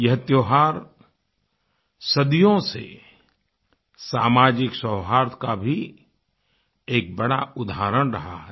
यह त्यौहार सदियों से सामाजिक सौहार्द का भी एक बड़ा उदाहरण रहा है